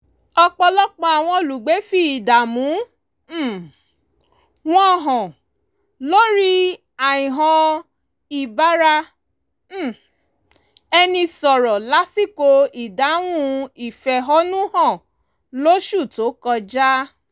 ọ̀pọ̀lọpọ̀ àwọn olùgbé fi ìdààmú um wọn hàn lórí àìhàn ìbára um ẹni sọ̀rọ̀ lásìkò ìdáhùn ìfẹ̀hónú-hàn lóṣù tó kọjá